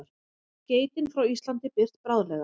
Skeytin frá Íslandi birt bráðlega